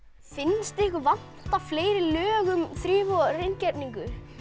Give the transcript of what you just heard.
finnst ykkur vanta fleiri lög um þrif og hreingerningu